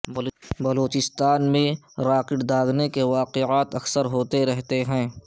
بلوچستان میں راکٹ داغنے کے واقعات اکثر ہوتے رہتے ہیں